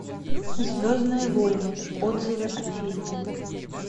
звездные войны отзывы о фильме